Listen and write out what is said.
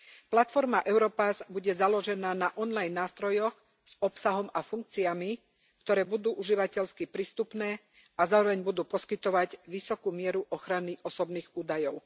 Platforma Europass bude založená na online nástrojoch s obsahom a funkciami, ktoré budú užívateľsky prístupné a zároveň budú poskytovať vysokú mieru ochrany osobných údajov.